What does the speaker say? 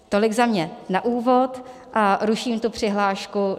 Tolik za mě na úvod a ruším tu přihlášku.